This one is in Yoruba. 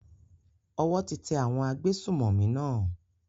Owó ti tẹ àwọn agbésùnmọ̀mí náà.